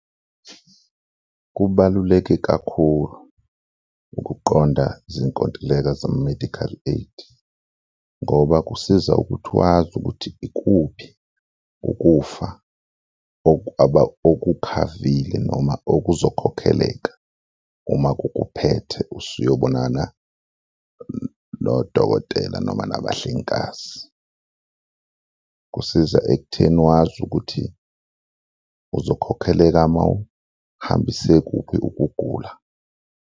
Kubaluleke kakhulu ukuqonda izinkontileka zama-medical aid ngoba kusiza ukuthi wazi ukuthi ikuphi ukufa okukhavile noma okuzokhokheleka uma kukuphethe usuyobonana nodokotela noma nabahlengikazi. Kusiza ekutheni wazi ukuthi uzokhokheleka mawuhambise kuphi ukugula.